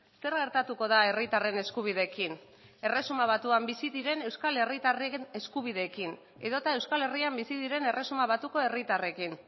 zer gertatuko da herritarren eskubideekin erresuma batuan bizi diren euskal herritarren eskubideekin edota euskal herrian bizi diren erresuma batuko herritarrekin